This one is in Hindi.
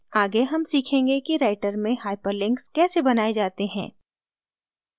आगे हम सीखेंगे कि writer में hyperlinks कैसे बनाए जाते हैं